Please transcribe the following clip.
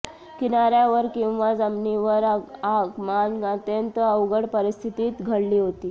किनाऱ्यावर किंवा जमिनीवर आगमन अत्यंत अवघड परिस्थितीत घडली होती